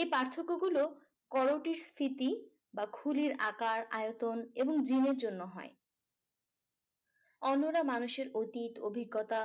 এই পার্থক্য গুলি স্ফীতি বা খুলির আকার আয়তন বাএবং gin এর জন্য হয় অন্যরা মানুষের অতীত অভিজ্ঞতা